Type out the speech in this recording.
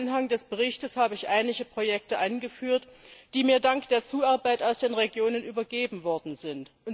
Im Anhang des Berichts habe ich einige Projekte angeführt, die mir dank der Zuarbeit aus den Regionen übergeben worden sind.